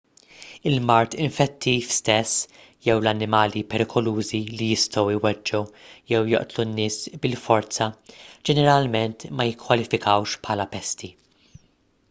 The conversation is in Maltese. il-mard infettiv stess jew l-annimali perikolużi li jistgħu jweġġgħu jew joqtlu nies bil-forza ġeneralment ma jikkwalifikawx bħala pesti